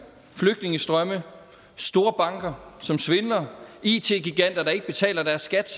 flygtningestrømme store banker som svindler it giganter der ikke betaler deres skat